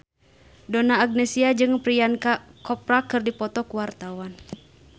Donna Agnesia jeung Priyanka Chopra keur dipoto ku wartawan